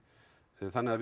þannig við